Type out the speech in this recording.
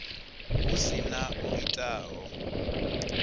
hu si na o itaho